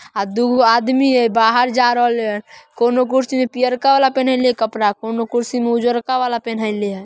आ दुगो आदमी है बाहर जा रहले है कोनो कुर्सी में पियरका वाला पेहनइले कपड़ा कोनो कुर्सी में उजरका वाला पेहनइले है।